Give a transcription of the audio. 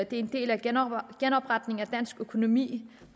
det er en del af genopretningen af dansk økonomi